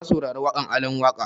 Na saurari waƙan Alan Waƙa